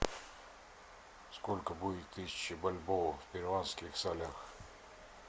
сколько будет тысяча бальбоа в перуанских солях